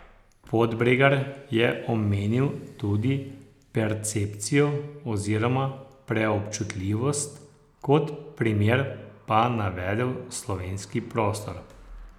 Podbregar je omenil tudi percepcijo oziroma preobčutljivost, kot primer pa navedel slovenski prostor.